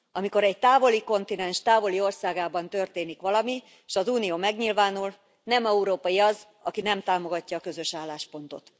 Amikor egy távoli kontinens távoli országában történik valami, s az Unió megnyilvánul, nem európai az, aki nem támogatja a közös álláspontot.